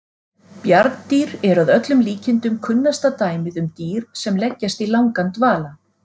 Bjarndýr eru að öllum líkindum kunnasta dæmið um dýr sem leggjast í langan dvala.